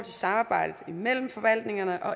samarbejdet mellem forvaltningerne